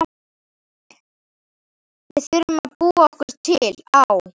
Við þurfum að búa okkur til Á